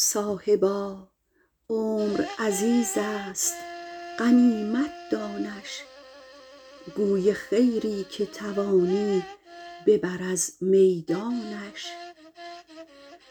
صاحبا عمر عزیز است غنیمت دانش گوی خیری که توانی ببر از میدانش